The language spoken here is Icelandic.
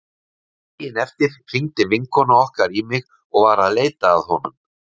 Daginn eftir hringdi vinkona okkar í mig og var að leita að honum.